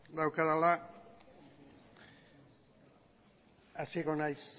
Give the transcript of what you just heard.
daukadala hasiko naiz